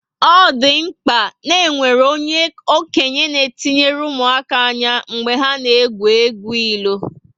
O dị mkpa ná enwere onye okenye na etinyere ụmụaka ányá mgbe ha na egwu egwu ilo